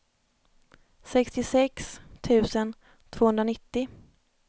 sextiosex tusen tvåhundranittio